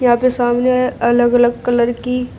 यहां पर सामने अलग अलग कलर की।